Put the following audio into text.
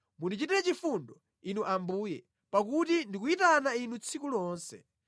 Mundichitire chifundo, Inu Ambuye, pakuti ndikuyitana Inu tsiku lonse.